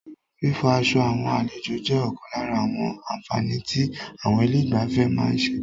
Fífọ aṣọ àwọn àlejò jẹ́ ọ̀kan lára àwọn àǹfààní tí àwọn ilé ìgbafẹ́ má ń ṣe.